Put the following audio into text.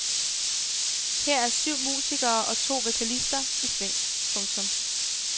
Her er syv musikere og to vokalister i sving. punktum